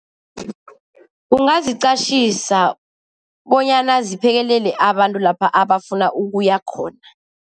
Ungaziqatjhisa bonyana ziphekelele abantu lapha abafuna ukuya khona.